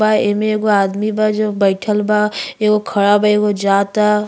बा एमे एगो आदमी बा जो बइठल बा। एगो खड़ा बा एगो जाता।